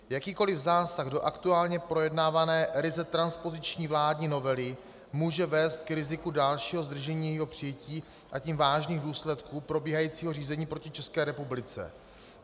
Jakýkoliv zásah do aktuálně projednávané, ryze transpoziční vládní novely může vést k riziku dalšího zdržení jejího přijetí, a tím vážných důsledků probíhajícího řízení proti České republice.